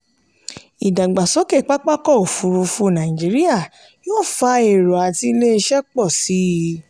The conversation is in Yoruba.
ìdàgbàsókè pápá ọkọ̀ òfurufú nàìjíríà yóò fà èrò àti ilé-iṣẹ́ pọ̀ síi.